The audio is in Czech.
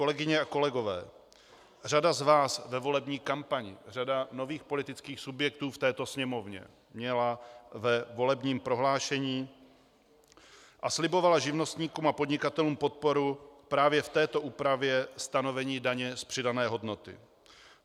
Kolegyně a kolegové, řada z vás ve volební kampani, řada nových politických subjektů v této Sněmovně, měla ve volebním prohlášení a slibovala živnostníkům a podnikatelům podporu právě v této úpravě stanovení daně z přidané hodnoty.